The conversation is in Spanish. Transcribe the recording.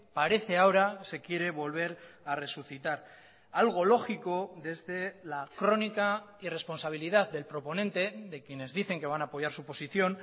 parece ahora se quiere volver a resucitar algo lógico desde la crónica irresponsabilidad del proponente de quienes dicen que van a apoyar su posición